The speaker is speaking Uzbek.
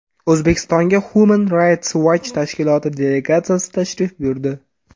O‘zbekistonga Human Rights Watch tashkiloti delegatsiyasi tashrif buyurdi.